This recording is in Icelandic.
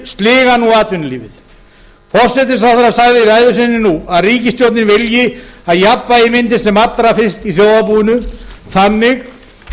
sliga nú atvinnulífið hæstvirtur forsætisráðherra sagði í ræðu sinni nú að ríkisstjórnin vilji að jafnvægi myndist sem allra fyrst í þjóðarbúinu þannig